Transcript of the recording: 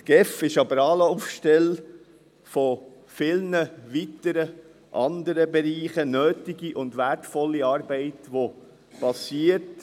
Die GEF ist aber Anlaufstelle für viele weitere andere Bereiche – nötige und wertvolle Arbeit, die geschieht;